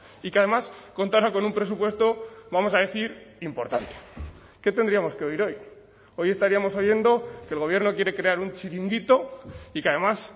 y que además contará con un presupuesto vamos a decir importante qué tendríamos que oír hoy hoy estaríamos oyendo que el gobierno quiere crear un chiringuito y que además